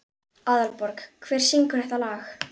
Aðalborg, hver syngur þetta lag?